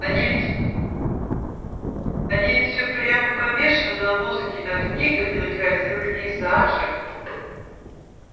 они ведь они ведь все прямо помешаны на музыке на книгах и на красивых пейзажах